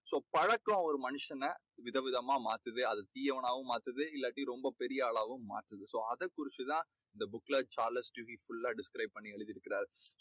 so பழக்கம் ஒரு மனுஷனை விதவிதமா மாத்துது. அது தீயவனாவும் மாத்துது. இல்லாட்டி ரொம்ப பெரிய ஆளாவும் மாத்துது. so அதை குறிச்சு தான் இந்த book ல சார்லஸ் டிக்கின்ஸ் full லா describe பண்ணி எழுதுயிருக்காரு.